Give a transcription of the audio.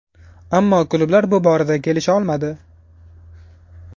Ammo klublar bu borada kelisha olmadi.